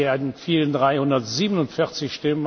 entfielen 347